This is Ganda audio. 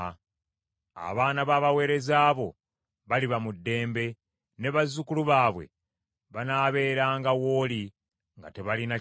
Abaana b’abaweereza bo baliba mu ddembe; ne bazzukulu baabwe banaabeeranga w’oli nga tebalina kye batya.”